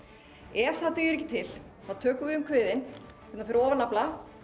ef það dugir ekki til þá tökum við um kviðinn hérna fyrir ofan nafla